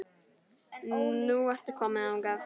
Nú ertu komin þangað.